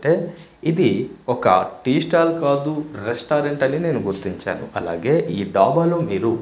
అంటే ఇది ఒక టీ స్టాల్ కాదు రెస్టారెంట్ అని నేను గుర్తించాను అలాగే ఈ డాబా లో మీరు--